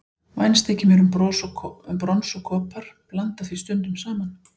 Vænst þykir mér um brons og kopar, blanda því stundum saman.